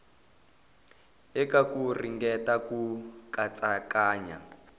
eka ku ringeta ku katsakanya